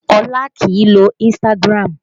Olá kìí lo Instagram